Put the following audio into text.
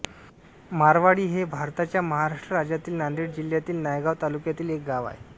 मारवाळी हे भारताच्या महाराष्ट्र राज्यातील नांदेड जिल्ह्यातील नायगाव तालुक्यातील एक गाव आहे